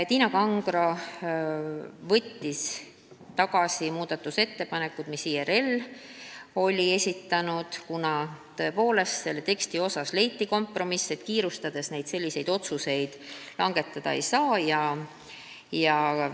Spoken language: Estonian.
Tiina Kangro võttis tagasi muudatusettepanekud, mis IRL oli esitanud, kuna leiti kompromiss, et kiirustades selliseid otsuseid langetada ei tohi.